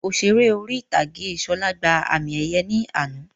Òṣèré orí ìtàgé Ṣọlá gbà àmì ẹ̀yẹ ní àná